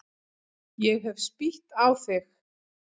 Ég hef spýtt á þig.